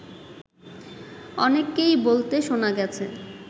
অনেককেই বলতে শোনা গেছে